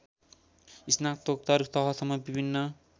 स्नातकोत्तर तहसम्म विभिन्न